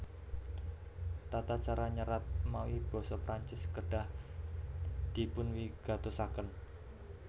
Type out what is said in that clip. Tata cara nyerat mawi basa Prancis kedah dipunwigatosaken